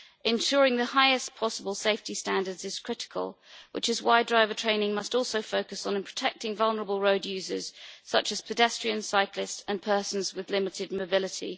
Ensuring the highest possible safety standards is critical, which is why driver training must also focus on protecting vulnerable road users, such as pedestrians, cyclists and persons with limited mobility.